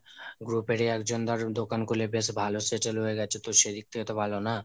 group এর ই একজন দারুন দোকান খুলে বেশ ভালো settle হয়ে গেছে তো সেদিক থেকে বেশ ভালো না?